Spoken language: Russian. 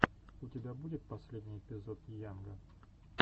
у тебя будет последний эпизод йанга